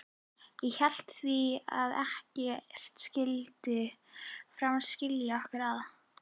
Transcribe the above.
Ég hét því að ekkert skyldi framar skilja okkur að.